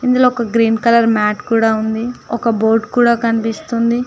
ఇందులో ఒక green colour మెట్ కూడా ఉంది ఒక బోర్డు కూడా కనిపిస్తుంది.